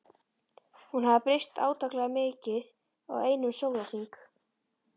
Hún hafði breyst átakanlega mikið á einum sólarhring.